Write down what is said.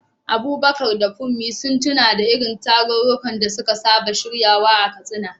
Abubakar da Funmi sun tuno da irin tarurrukan da suka saba shiryawa a Katsina.